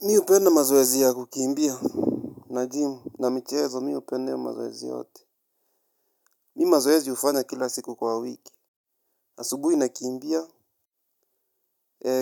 Mimi hupenda mazoezi ya kukimbia na jimu na michezo. Mimi hupenda hiyo mazoezi yote. Mimi mazoezi hufanya kila siku kwa wiki. Asubui nakiimbia.